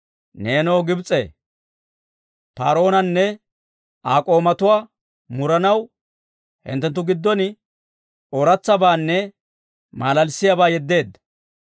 Neenoo Gibs'ee, Par"oonanne Aa k'oomatuwaa muranaw, hinttenttu gidon ooratsabaanne malalissiyaabaa yeddeedda.